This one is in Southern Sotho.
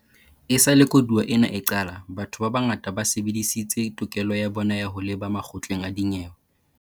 Esale koduwa ena e qala, batho ba bangata ba sebedisitse tokelo ya bona ya ho leba makgotleng a dinyewe.